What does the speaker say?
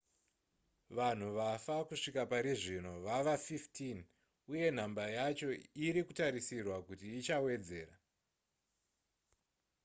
vanhu vafa kusvika parizvino vava 15 uye nhamba yacho iri kutarisirwa kuti ichawedzera